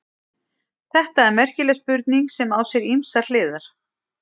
Þetta er merkileg spurning sem á sér ýmsar hliðar.